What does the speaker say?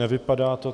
Nevypadá to.